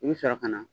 I bɛ sɔrɔ ka na